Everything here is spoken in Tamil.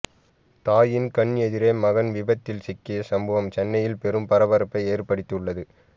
தாயின் கண் எதிரே மகன் விபத்தில் சிக்கிய சம்பவம் சென்னையில் பெரும் பரபரப்பை ஏற்படுத்தி உள்ளது